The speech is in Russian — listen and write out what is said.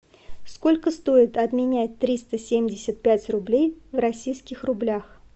сколько стоит обменять триста семьдесят пять рублей в российских рублях